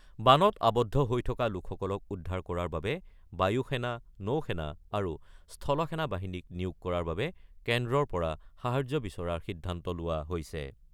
বানত আৱদ্ধ হৈ থকা লোকসকলক উদ্ধাৰ কৰাৰ বাবে বায়ু সেনা, নৌ সেনা আৰু স্থল সেনা বাহিনীক নিয়োগ কৰাৰ বাবে কেন্দ্ৰৰ পৰা সাহায্য বিচৰাৰ সিদ্ধান্ত লোৱা হৈছে।